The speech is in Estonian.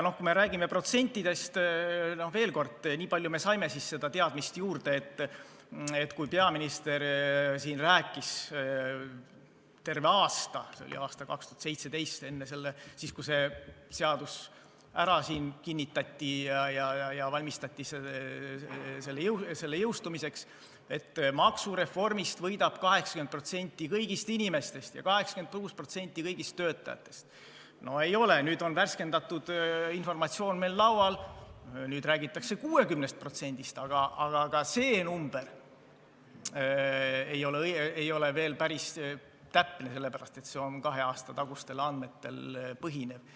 Kui me räägime protsentidest, siis veel kord, niipalju me saime teadmist juurde, et kui peaminister siin rääkis terve aasta – see oli aastal 2017, kui see seadus ära kinnitati ja valmistuti selle jõustumiseks –, et maksureformist võidab 80% kõigist inimestest ja 86% kõigist töötajatest, siis seda ei ole, nüüd on värskendatud informatsioon meil laual, nüüd räägitakse 60%-st, aga ka see number ei ole veel päris täpne, sest see on kahe aasta tagustel andmetel põhinev.